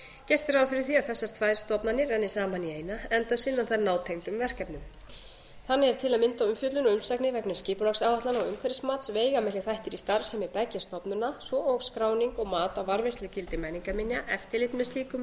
gert er ráð fyrir því að þessar tvær stofnanir renni saman í eina enda sinna þær nátengdum verkefnum þannig er til að mynda umfjöllun og umsagnir vegna skipulagsáætlana og umhverfismat veigamiklir þættir í starfsemi beggja stofnana svo og skráning og mat á varðveislugildi menningarminja eftirlit með slíkum